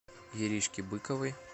иришке быковой